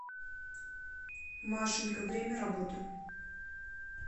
машенька время работы